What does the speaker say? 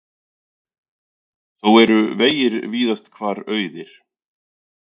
Þó eru vegir víðast hvar auðir